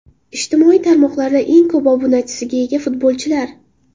Ijtimoiy tarmoqlarda eng ko‘p obunachiga ega futbolchilar.